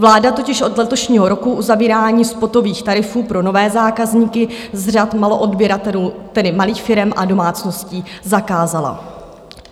Vláda totiž od letošního roku uzavírání spotových tarifů pro nové zákazníky z řad maloodběratelů, tedy malých firem a domácností, zakázala.